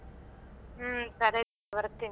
ಹ್ಮ ಸರಿ ಬರ್ತೀನಿ.